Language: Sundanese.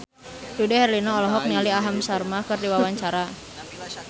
Dude Herlino olohok ningali Aham Sharma keur diwawancara